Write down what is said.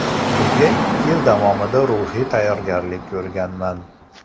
Bunga ikki yil davomida ruhiy tayyorgarlik ko‘rganman.